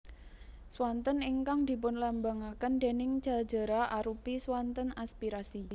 Swanten ingkang dipunlambangaken déning Ja jera arupi swanten aspirasi